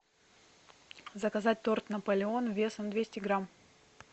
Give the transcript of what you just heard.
заказать торт наполеон весом двести грамм